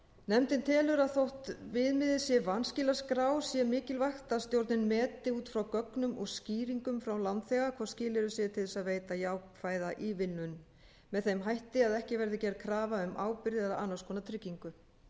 nefndin telur að þótt viðmiðið sé vanskilaskrá sé mikilvægt að stjórnin meti út frá gögnum og skýringum frá lánþega hvort skilyrði séu til þess að veita jákvæða ívilnun með þeim hætti að ekki verði gerð krafa um ábyrgð eða annars konar tryggingu